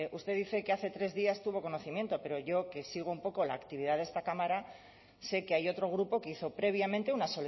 usted dice que hace tres días tuvo conocimiento pero yo que sigo un poco la actividad de esta cámara sé que hay otro grupo que hizo previamente una